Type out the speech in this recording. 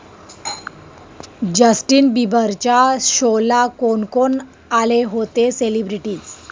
Justin बिबरच्या शोला कोण कोण आले होते सेलिब्रिटीज्?